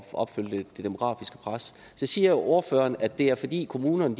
opfylde det demografiske pres så siger ordføreren at det er fordi kommunerne